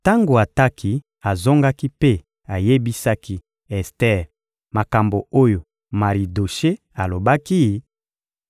Tango Ataki azongaki mpe ayebisaki Ester makambo oyo Maridoshe alobaki,